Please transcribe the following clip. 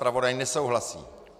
Zpravodaj nesouhlasí.